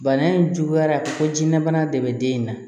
Bana in juguyara fo jiyɛnlabana de bɛ den in na